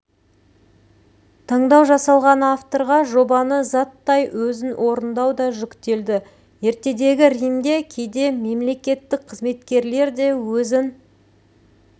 таңдау жасалған авторға жобаны заттай өзін орындау да жүктелді ертедегі римде кейде мемлекеттік қызметкерлер де өзін